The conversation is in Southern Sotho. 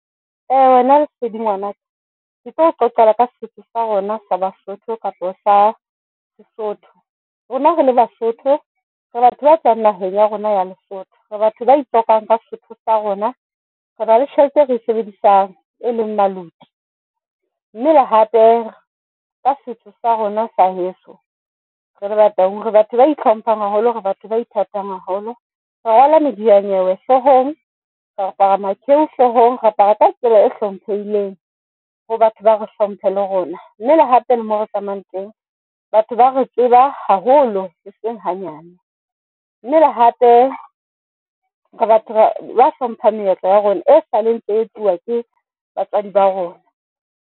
Lesedi ngwana ke tlao qoqela ka Sesotho sa rona sa Basotho kapa sa Sesotho. Rona rele Basotho re batho ba tswang naheng ya rona ya Lesotho, re batho bae hlokang ka Sesotho sa rona. Re ba le tjhelete e re e sebedisang e leng maluti a mmele hape ka setho sa rona sa heso re le Bataung, re batho ba hlomphang haholo hore batho ba ithatang haholo, re rwala medianyewe hlohong re apara ma ko hlohong, Re apara ka tsela e hlomphehileng ho batho ba re hlomphe le rona mme le hape le mo re tsamayang teng. Batho ba re tseba haholo le seng hanyane mme le hape re batho ba hlompha meetlo ya rona. E sale ntse e ke batswadi ba rona.